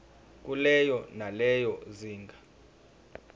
kulelo nalelo zinga